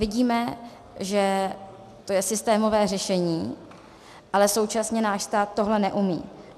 Vidíme, že to je systémové řešení, ale současně náš stát tohle neumí.